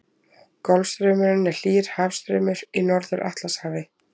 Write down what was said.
Golfstraumurinn er hlýr hafstraumur í Norður-Atlantshafi.